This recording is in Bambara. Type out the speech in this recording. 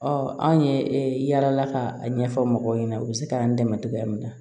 Ɔ anw ye e yala ka a ɲɛfɔ mɔgɔw ɲɛna u bɛ se k'an dɛmɛ cogoya min na